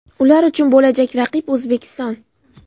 Ular uchun bo‘lajak raqib O‘zbekiston.